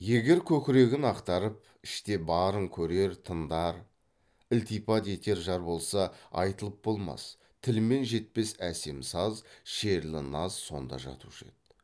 егер көкірегін ақтарып іште барын көрер тыңдар ілтипат етер жар болса айтылып болмас тілмен жетпес әсем саз шерлі наз сонда жатушы еді